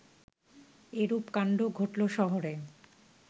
এরূপ কাণ্ড ঘটল শহরে